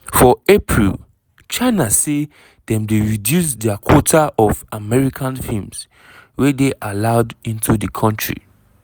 for april china say dem dey reduce dia quota of american films wey dey allowed into di kontri.